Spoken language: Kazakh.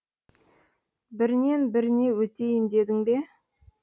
бірінен біріне өтейін дедің бе